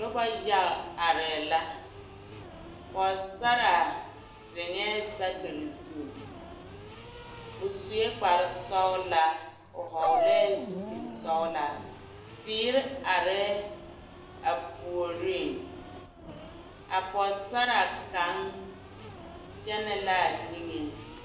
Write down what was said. Noba yaga are la pɔgesaraa zeŋɛɛ sakere zu o sue kpare sɔglaa o hɔɔglɛɛ zupile sɔglaa teere are a puoriŋ a pɔgesaraa kaŋ kyɛnnɛ la a niŋe